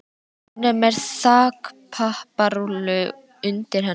Hún er með þakpapparúllu undir hendinni.